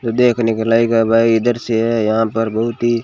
देखने के लगा भाई इधर से है यहां पर बहुत ही--